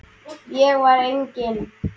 Ég var eigin